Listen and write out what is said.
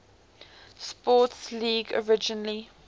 sports league originally